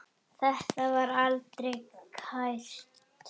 Þetta var aldrei kært.